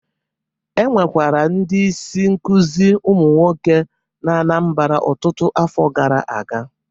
Enwekwara ndị isi nkuzi ụmụ nwoke na Anambra ọtụtụ afọ gara aga